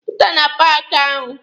Pụta na paaki ahụ!